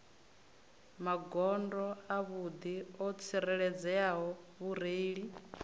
magondo avhuḓi o tsireledzeaho mureili